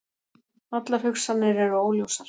Allar hugsanir eru óljósar.